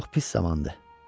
Çox pis zamandır.